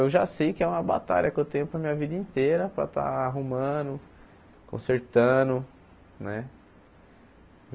Eu já sei que é uma batalha que eu tenho para a minha vida inteira para estar arrumando, consertando, né?